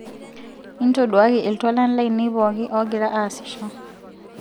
intoduaki iltualan laine pooki oogira aasisho